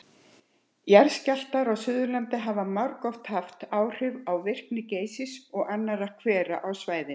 Jarðskjálftar á Suðurlandi hafa margoft haft áhrif á virkni Geysis og annarra hvera á svæðinu.